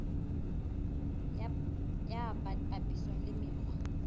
ya bt papisong le mekgwa